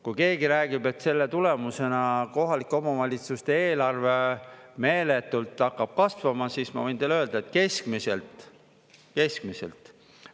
Kui keegi räägib, et selle tulemusena kohalike omavalitsuste eelarve meeletult hakkab kasvama, siis ma võin teile öelda, et keskmiselt – keskmiselt!